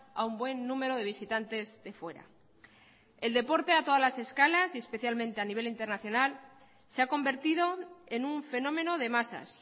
a un buen número de visitantes de fuera el deporte a todas las escalas y especialmente a nivel internacional se ha convertido en un fenómeno de masas